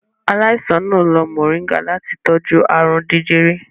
Aláìsàn náà lo moringa láti tọ́jú ààrùn jẹjẹrẹ.